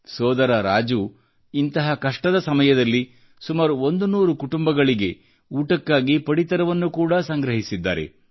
ಸೋದರ ರಾಜು ಇಂತಹ ಕಷ್ಟದ ಸಮಯದಲ್ಲಿ ಸುಮಾರು 100 ಕುಟುಂಬಗಳಿಗೆ ಊಟಕ್ಕಾಗಿ ಪಡಿತರವನ್ನು ಕೂಡಾ ಸಂಗ್ರಹಿಸಿದ್ದಾರೆ